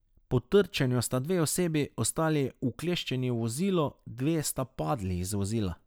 Po trčenju sta dve osebi ostali ukleščeni v vozilu, dve sta padli iz vozila.